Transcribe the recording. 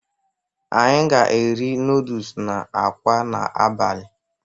Anyị ga-eri nọọdus na akwa n'abalị.